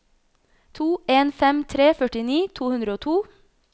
to en fem tre førtini to hundre og to